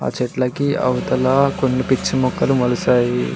చెట్లకి అవతల కొన్ని పిచ్చి మొక్కలు మొలచ్చాయి.